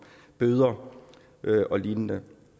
bøder og lignende